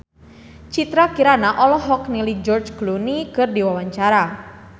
Citra Kirana olohok ningali George Clooney keur diwawancara